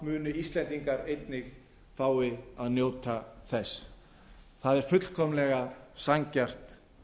muni íslendingar einnig fá að njóta þess það er fullkomlega sanngjarnt